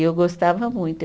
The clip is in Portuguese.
E eu gostava muito.